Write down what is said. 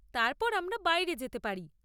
তারপর আমরা বাইরে যেতে পারি।